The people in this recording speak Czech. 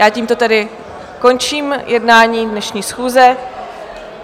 Já tímto tedy končím jednání dnešní schůze.